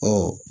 Ɔ